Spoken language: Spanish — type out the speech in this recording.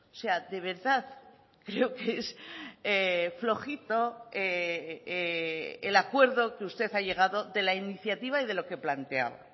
sea de verdad creo que es flojito el acuerdo que usted ha llegado de la iniciativa y de lo que planteaba